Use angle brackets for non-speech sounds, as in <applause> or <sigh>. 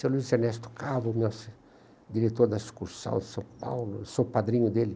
Seu Luiz Ernesto Carlos, <unintelligible> diretor da sucursal de São Paulo, sou padrinho dele.